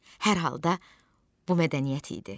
Hər halda bu mədəniyyət idi.